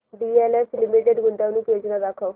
DLF limited गुंतवणूक योजना दाखव